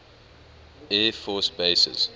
air force bases